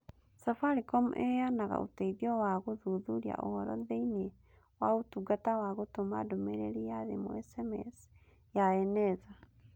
Safaricom Ĩheanaga ũteithio wa gũthuthuria ũhoro thĩinĩ wa ũtungata wa gũtũma ndũmĩrĩri na thimũ (SMS ya Eneza).